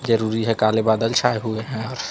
जरूरी है काले बादल छाए हुए हैं।